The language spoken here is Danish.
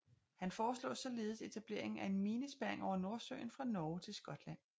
Han foreslog således etableringen af en minespærring over Nordsøen fra Norge til Skotland